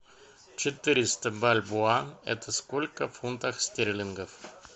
четыреста бальбоа это сколько в фунтах стерлингов